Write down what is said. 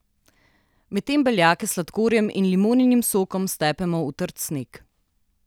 Medtem beljake s sladkorjem in limoninim sokom stepemo v trd sneg.